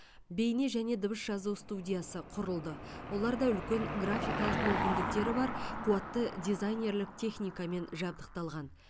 бейне және дыбыс жазу студиясы құрылды олар да үлкен графикалық мүмкіндіктері бар қуатты дизайнерлік техникамен жабдықталған